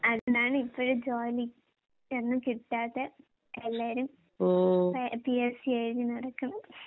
അതാണ് ഇപ്പഴ് ജോലിയൊന്നും കിട്ടാത്തെ. എല്ലാരും ഫേ പിഎസ്‌സി എഴുതി നടക്കണത്.